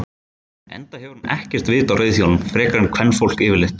Enda hefur hún ekkert vit á reiðhjólum frekar en kvenfólk yfirleitt.